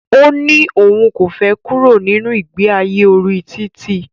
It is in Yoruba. Ó ní òun kò fẹ kúrò nínu ìgbe ayé orí títì.